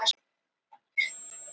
Þeirri kröfu var því vísað frá